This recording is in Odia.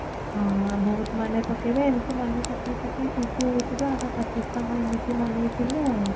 ହଁ ଆ ବହୁତ ମନେ ପକେଇବେ ଏମିତି ମନେ ପକେଇ ପକେଇ ଖୁସି ହୋଉଥିବା ଆମେ ପଚିଶତମ ଏମିତି ମନେଇଥିଲେ ଆଉ